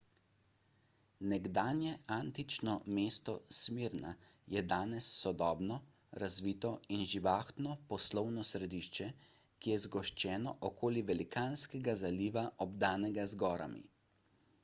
nekdanje antično mesto smirna je danes sodobno razvito in živahno poslovno središče ki je zgoščeno okoli velikanskega zaliva obdanega z gorami